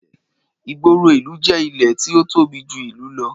Ìgboro ìlú jẹ́ ilẹ̀ tí ó tóbi jù ìlú lọ